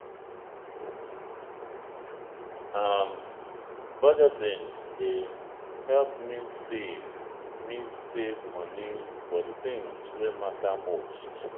um budgeting dey help me save me save money for the things wey matter most.